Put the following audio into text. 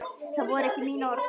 Það voru ekki mín orð.